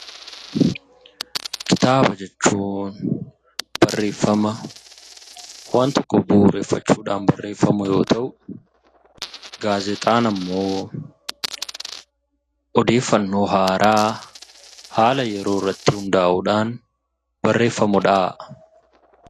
Kitaaba jechuun barreeffama waan tokko bu'uureffachuudhan barreeffamu yoo ta'u gaazexaan immoo odeeffannoo haaraa haala yeroo irratti hundaa'uudhan barreeffamudhaa.